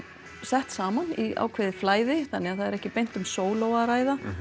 sett saman í ákveðið flæði þannig það er ekki beint um sóló að ræða